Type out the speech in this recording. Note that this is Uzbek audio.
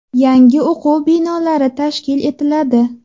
Yangi o‘quv binolari tashkil etiladi.